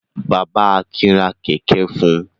Bàbá Akin ra kẹ̀kẹ́ fún un.